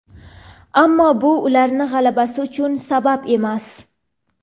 ammo bu ularning g‘alabasi uchun sabab emas.